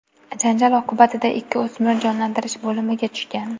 Janjal oqibatida ikki o‘smir jonlantirish bo‘limiga tushgan.